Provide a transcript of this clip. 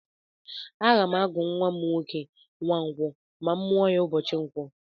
Aga m agụ nwa m Nwankwó ma a mụọ ya ụbọchị ǹkwọ.